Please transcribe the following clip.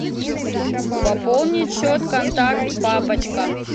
пополнить счет контакт папочка